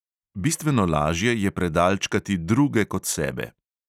Bistveno lažje je predalčkati druge kot sebe.